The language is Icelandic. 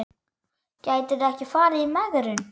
Gætirðu ekki farið í megrun?